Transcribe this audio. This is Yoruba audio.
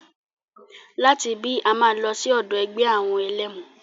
Láti ibí, a máa lọ sí ọ̀dọ̀ ẹgbẹ́ àwọn ẹlẹ́mu.